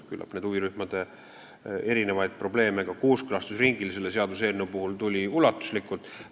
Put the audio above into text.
Küllap neid huvirühmade probleeme tuli ka selle eelnõu kooskõlastusringil ulatuslikult esile.